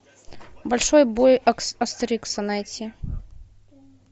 большой бой астерикса найти